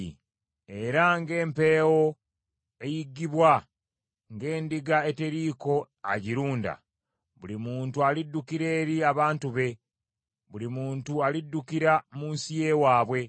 Era ng’empeewo eyiggibwa, ng’endiga eteriiko agirunda, buli muntu aliddukira eri abantu be buli muntu aliddukira mu nsi y’ewaabwe.